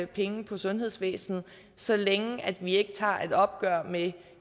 penge på sundhedsvæsenet så længe vi ikke tager et opgør med